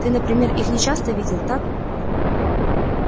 ты например их не часто видел так